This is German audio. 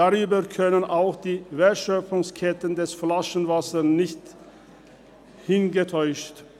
Darüber können auch die Wertschöpfungsketten des Flaschenwassers nicht hinwegtäuschen.